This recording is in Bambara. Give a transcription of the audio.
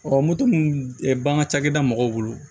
moto mun b'an ka cakɛda mɔgɔw bolo